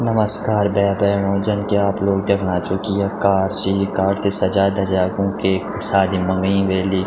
नमस्कार भै भेणो जन की आप लोग देखणा छौ की य कार ची यि कार थे सजा धजा ऊक एक सादी मा व्यीं वेली।